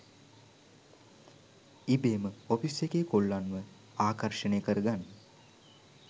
ඉබේම ඔෆිස් එකේ කොල්ලන්ව ආකර්ෂණය කර ගන්න